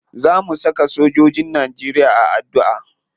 Za mu saka sojojin najeriya a addu'a.